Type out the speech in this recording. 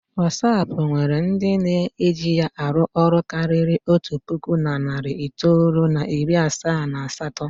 Watsap nwere ndị na-eji ya arụ ọrụ karịrị otu puku na narị itoolu na iri asaa na asatọ.